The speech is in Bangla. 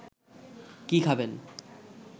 কি খাবেন